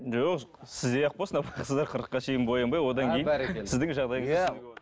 жоқ сіздей ақ болсын апа сіз де қырыққа шейін боянбай одан кейін сіздің жағдайыңызды